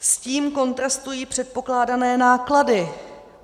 S tím kontrastují předpokládané náklady.